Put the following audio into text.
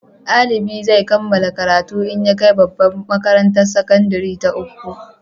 Dalibi zai kammala karatu in ya kai babbar makarantar sakandare ta uku